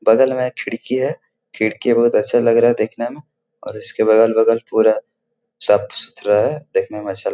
बगल में एक खिड़की है खिड़की बहुत अच्छा लग रहा है देखने में और उसके बगल-बगल पूरा साफ़-सुथरा है देखने में अच्छा लग --